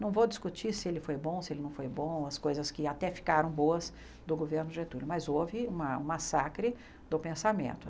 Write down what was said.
Não vou discutir se ele foi bom, se ele não foi bom, as coisas que até ficaram boas do governo Getúlio, mas houve uma um massacre do pensamento.